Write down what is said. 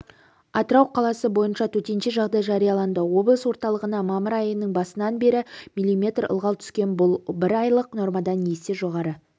атырау қаласы бойынша төтенше жағдай жарияланды облыс орталығына мамыр айының басынан бері миллиметр ылғал түскен бұл бір айлық нормадан есе жоғары